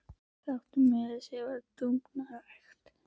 Það átti að vera meiri háttar dúfnarækt.